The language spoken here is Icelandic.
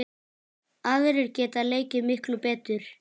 Aðrir geta leikið miklu betur.